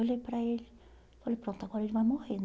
Olhei para ele, falei, pronto, agora ele vai morrer